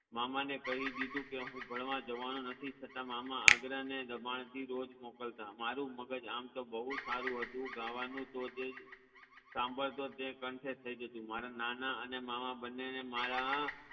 મામાને કઈ દીધું હું ભણવા જવાનો નથી છતા મામા આગ્રહ અને રમાળ થી રોજ મોકલતા મારુ મગજ આમ તો બૌ સારુ હતુ ગાવાનું જો જે સાંભળતો તે કંઠે થઇ જતુ મારા નાના અને મામા બન્ને ને મારા